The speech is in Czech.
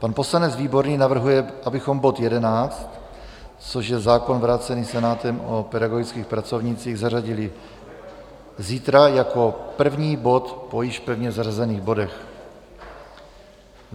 Pan poslanec Výborný navrhuje, abychom bod 11, což je zákon, vrácený Senátem, o pedagogických pracovnících, zařadili zítra jako první bod po již pevně zařazených bodech.